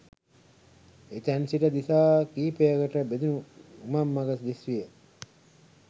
එතැන්සිට දිසා කීපයකට බෙදුනු උමංමග දිස්විය